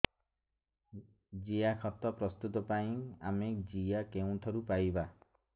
ଜିଆଖତ ପ୍ରସ୍ତୁତ ପାଇଁ ଆମେ ଜିଆ କେଉଁଠାରୁ ପାଈବା